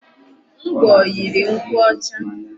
Ngwọ yiri nkwụ ọcha.